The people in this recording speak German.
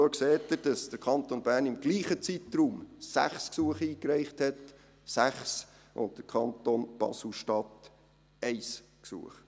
Dort sehen Sie, dass der Kanton Bern im selben Zeitraum 6 Gesuche eingereicht hat, und der Kanton Basel-Stadt 1 Gesuch.